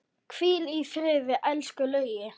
Hvíl í friði, elsku Laugi.